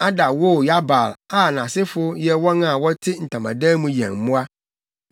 Ada woo Yabal a nʼasefo yɛ wɔn a wɔte ntamadan mu yɛn mmoa.